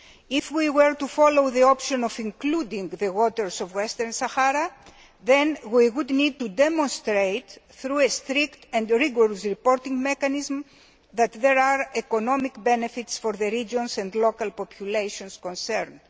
If we were to follow the option of including the waters off Western Sahara, then we would need to demonstrate, through a strict and rigorous reporting mechanism, that there are economic benefits for the regions and local populations concerned.